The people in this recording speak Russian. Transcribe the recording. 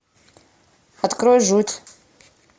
открой жуть